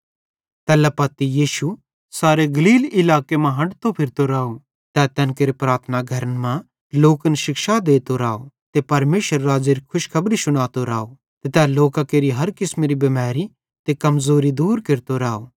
तैल्ला पत्ती यीशु सारे गलील इलाके मां हंठतो फिरतो राव तै तैन केरे प्रार्थना घरन मां लोकन शिक्षा देतो राव ते परमेशरेरे राज़्ज़ेरी खुशखबरी शुनातो राव ते तै लोकां केरि हर किसमेरी बिमैरी ते कमज़ोरी दूर केरतो राव